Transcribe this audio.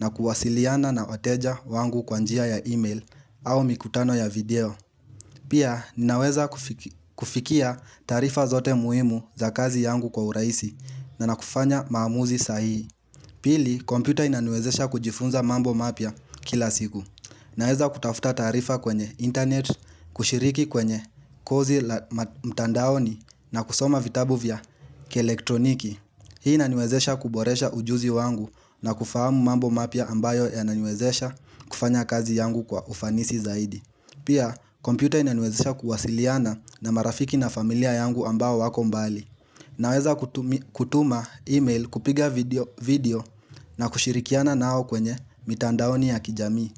na kuwasiliana na wateja wangu kwa njia ya email au mikutano ya video. Pia, ninaweza kufikia taarifa zote muhimu za kazi yangu kwa urahisi na nakufanya maamuzi sahihi. Pili, kompyuta inaniwezesha kujifunza mambo mapya kila siku. Naweza kutafuta taarifa kwenye internet, kushiriki kwenye kozi mtandaoni na kusoma vitabu vya kielektroniki. Hii inaniwezesha kuboresha ujuzi wangu na kufahamu mambo mapya ambayo yananiwezesha kufanya kazi yangu kwa ufanisi zaidi. Pia, kompyuta inaniwezesha kuwasiliana na marafiki na familia yangu ambao hawako mbali. Naweza kutuma email kupiga video na kushirikiana nao kwenye mitandaoni ya kijamii.